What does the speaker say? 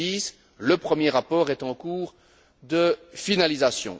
2010. Le premier rapport est en cours de finalisation.